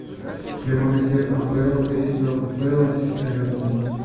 прямой эфир апл кристал пэлас эвертон